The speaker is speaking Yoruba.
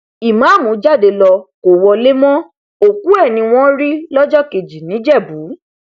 ìmáàmù jáde ló kó wọlé mọ òkú ẹ ni wọn rí lọjọ kejì níjẹbù